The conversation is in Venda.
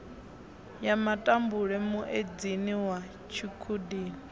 ya matambule muedzini wa tshikhudini